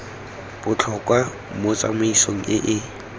botlhokwa mo tsamaisong e e